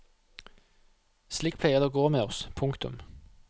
Slik pleier det å gå med oss. punktum